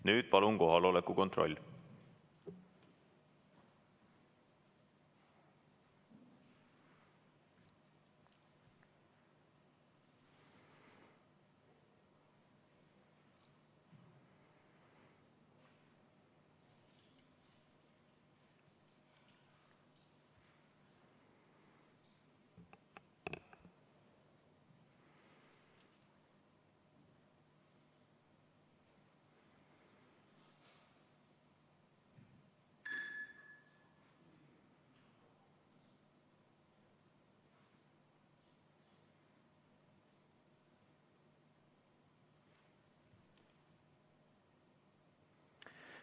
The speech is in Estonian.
Nüüd palun kohaloleku kontroll!